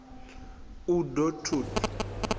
u d o t ut